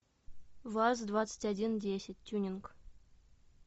ваз двадцать один десять тюнинг